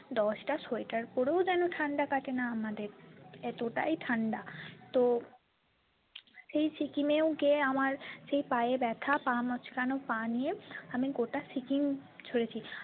দশ টা sweatwear ও পরে যেন ঠান্ডা কাটেনা আমাদের এতো টাই ঠান্ডা তো সেই সিকিমেও গিয়ে আমার সেই পায়ে ব্যাথা পা মচকানো পা নিয়ে আমি গোটা সিকিম ঘুরেছি।